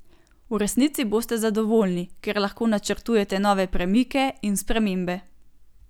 V resnici boste zadovoljni, ker lahko načrtujete nove premike in spremembe.